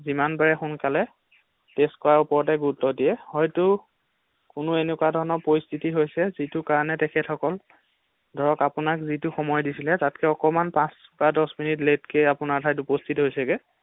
যিমান পাৰে সোনকালে টেষ্ট কৰাৰ ওপৰতহে গুৰুত্ব দিয়ে, হয়তো কোনো এনেকুৱা ধৰণৰ পৰিস্হিতি হৈছে যিটো কাৰণে তেখেতসকল ধৰক আপোনাক যিটো সময় দিছিলে তাতকৈ অকণমান পাচঁ বা দচ মিনিট লেটকে আপোনাৰ ঠাইত উপস্হিত হৈছেগে ৷